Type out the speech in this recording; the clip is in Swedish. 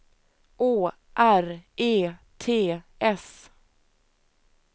Å R E T S